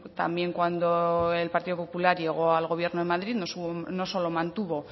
también cuando el partido popular llegó al gobierno en madrid no solo mantuvo